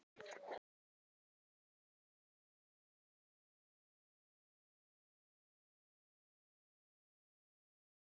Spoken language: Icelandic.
Einmanakenndin umlukti mig og ég lét mig falla í gólfið.